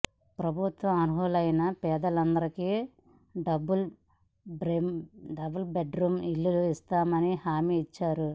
ప్రభుత్వం అర్హులైన పేదలందరికీ డబుల్ బెడ్రూమ్ ఇళ్లు ఇస్తామని హామీ ఇచ్చింది